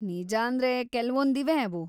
ನಿಜಾಂದ್ರೆ ಕೆಲ್ವೊಂದಿವೆ ಅವು.